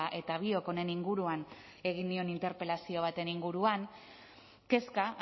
eta biok honen inguruan egin nion interpelazio baten inguruan kezka